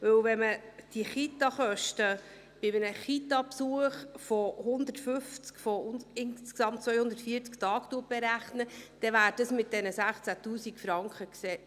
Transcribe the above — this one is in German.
Denn wenn man die Kitakosten bei einem Kitabesuch von 150 von insgesamt 240 Tagen berechnet, wären diese mit diesen 16 000 Franken gedeckt.